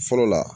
Fɔlɔ la